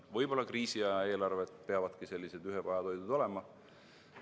Võib-olla kriisiaja eelarved peavadki sellised ühepajatoidud olema.